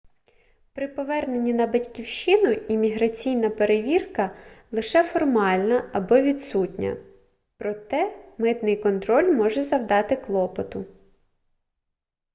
при поверненні на батьківщину імміграційна перевірка лише формальна або відсутня проте митний контроль може завдати клопоту